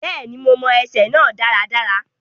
Bẹ́ẹ̀ni, mo mọ ẹsẹ náà dáradára.